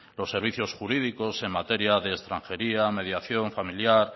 los servicios jurídicos en materia de extranjería mediación familiar